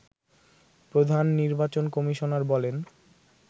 প্রধান নির্বাচন কমিশনার বলেন